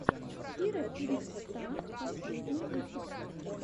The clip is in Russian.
кира пинк ста последний выпуск